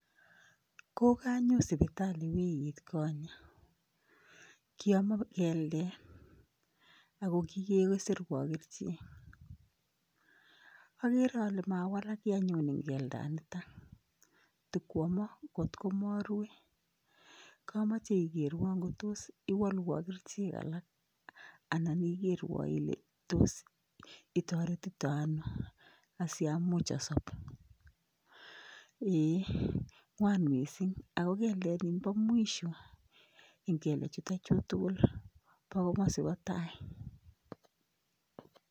Kokanyon sibitali wikit konye kiomon keldet Ako kikesirwan kerichek akere ale mawalak kii anyun enn keldanitan, tikwonmon marue, kamoje ikerwon ngotos iwolwon kerichek alak anan ikerwon Ile ngotko tos itoretiton ano asiamuch asob,, eee ngwan mising Ako keldet nimbo mwisho ingebe jutochu tugul bo komasi bo tai.